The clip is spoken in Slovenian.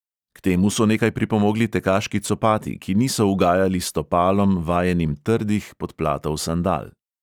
K temu so nekaj pripomogli tekaški copati, ki niso ugajali stopalom, vajenim trdih podplatov sandal.